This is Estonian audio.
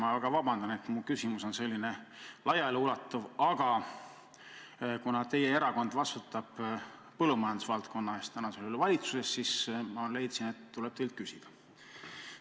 Palun väga vabandust, et mu küsimus on selline laia ulatusega, aga kuna teie erakond vastutab praegu valitsuses põllumajandusvaldkonna eest, siis ma leidsin, et tuleb teilt küsida.